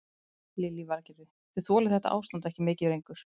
Lillý Valgerður: Þið þolið þetta ástand ekki mikið lengur?